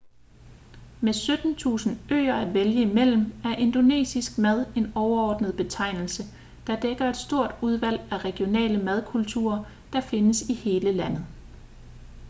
med 17.000 øer at vælge imellem er indonesisk mad en overordnet betegnelse der dækker et stort udvalg af regionale madkulturer der findes i hele landet